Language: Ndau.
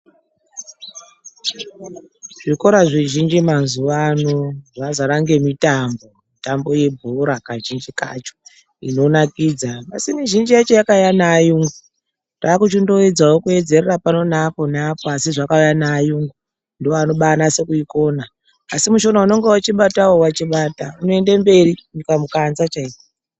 Zvikora zvizhinji mazuvano zvazara ngemitambo. Mitambo yebhora kazhinji kacho inonakidza. Asi mizhinji yacho yakauya neayungu, taakuchindoedzawo kuedzerera pano neapo neapo asi zvakauya neayungu, ndooanobaanase kuikona. Asi mushona unenge achibatawo wachibata, unoende mberi kusvika mukanza chaiko.